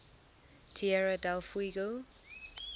tierra del fuego